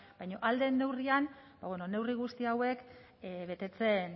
baina ahal den neurrian neurri guzti hauek